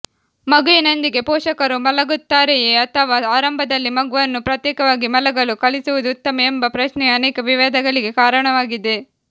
ಮಗುವಿನೊಂದಿಗೆ ಪೋಷಕರು ಮಲಗುತ್ತಾರೆಯೇ ಅಥವಾ ಆರಂಭದಲ್ಲಿ ಮಗುವನ್ನು ಪ್ರತ್ಯೇಕವಾಗಿ ಮಲಗಲು ಕಲಿಸುವುದು ಉತ್ತಮ ಎಂಬ ಪ್ರಶ್ನೆಯು ಅನೇಕ ವಿವಾದಗಳಿಗೆ ಕಾರಣವಾಗಿದೆ